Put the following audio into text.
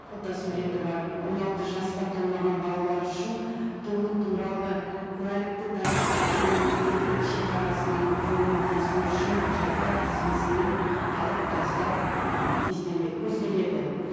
фотосуреті бар он алты жасқа толмаған балалар үшін туу туралы куәлікті тараптардың мемлекеттік шекарасынан жолын кесу үшін құжаттар тізбесінен алып тастау ы көзделеді